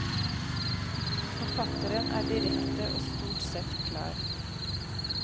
Forfatteren er direkte og stort sett klar.